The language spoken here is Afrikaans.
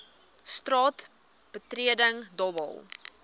straat betreding dobbel